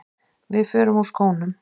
Við förum úr skónum.